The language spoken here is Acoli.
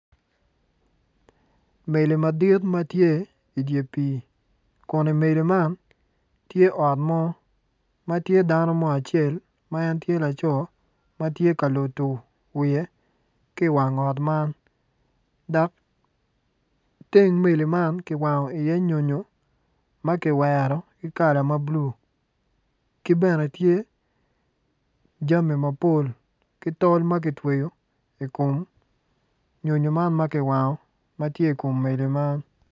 Meli madit ma tye i dye pii kun i meli man tye ot mo ma tye dano mo acel ma en tye laco ma tye ka lodo wiye ki i wang ot man dok teng meli man kiwango iye nyonyo ma kiwero ki kala ma bulu ki bene tye jami mapol ki tol ma kitweyo i kom nyonyo man ma kiwango ma tye i kom meli man.